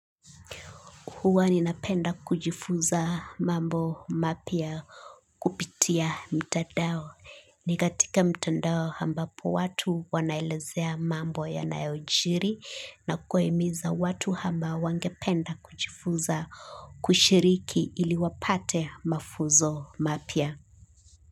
Huwa ninapenda kujifunza mambo mapya kupitia mtandao. Ni katika mtandao ambapo watu wanaelezea mambo yanayojiri na kuhimiza watu ambao wangependa kujifunza kushiriki ili wapate mafunzo mapya.